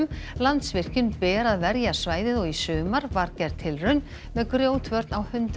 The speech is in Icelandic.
Landsvirkjun ber að verja svæðið og í sumar var gerð tilraun með grjótvörn á hundrað